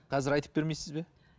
қазір айтып бермейсіз бе